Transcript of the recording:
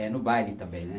É no baile também, né?